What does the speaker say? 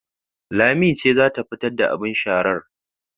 Lami ce za ta fitar da abin sharar